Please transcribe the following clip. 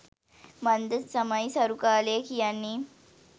මන්ද තමයි සරු කාලය කියන්නෙ.